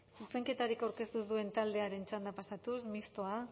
zuzenketarik aurkeztu ez duen taldeen txandara pasatuz mistoa